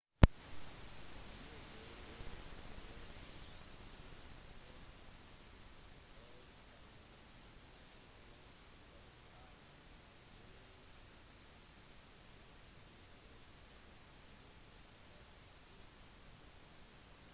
usas geologiske undersøkelse av internasjonale jordskjelvskart viste ingen tegn til jordskjelv uken før på island